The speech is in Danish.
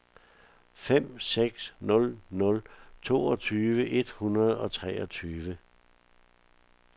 fem seks nul nul toogtyve et hundrede og treogtyve